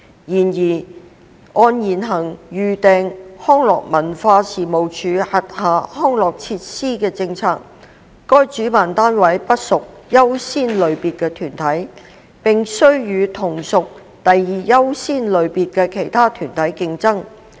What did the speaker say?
然而，按現行預訂康樂及文化事務署轄下康樂設施的政策，該主辦單位不屬最優先類別的團體，並須與同屬第二優先類別的其他團體競爭。